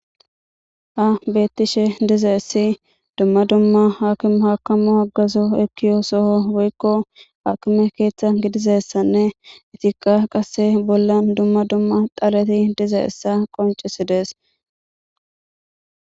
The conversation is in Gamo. Ha beettishe diza issi dumma dumma haakime haakamu aggazo ekkiyo soho woykko haakime keeththa gidizessanne itiqa qase bollan dumma dumma dhaleti diza issa qoncisidees.